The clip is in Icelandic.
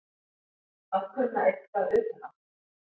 Að kunna eitthvað utan að